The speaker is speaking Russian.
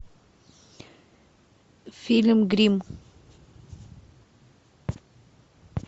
фильм гримм